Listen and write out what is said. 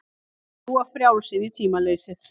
Fljúga frjáls inn í tímaleysið.